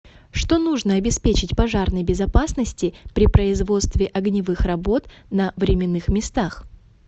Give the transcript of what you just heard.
что нужно обеспечить пожарной безопасности при производстве огневых работ на временных местах